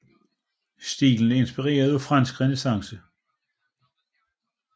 Stilen er inspireret af fransk renæssance